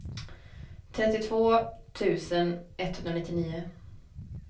trettiotvå tusen etthundranittionio